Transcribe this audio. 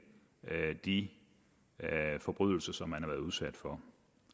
de forbrydelser som man har været udsat for